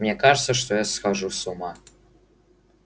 мне кажется что я схожу с ума